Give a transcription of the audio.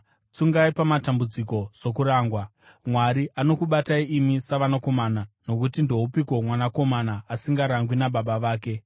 Tsungai pamatambudziko sokurangwa; Mwari anokubatai imi savanakomana. Nokuti ndoupiko mwanakomana asingarangwi nababa vake?